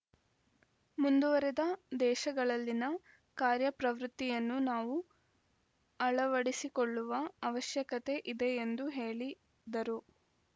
ಮುಂದುವರಿದ ದೇಶಗಳಲ್ಲಿನ ಕಾರ್ಯ ಪ್ರವೃತ್ತಿಯನ್ನು ನಾವು ಅಳವಡಿಸಿಕೊಳ್ಳುವ ಅವಶ್ಯಕತೆ ಇದೆ ಎಂದು ಹೇಳಿದರು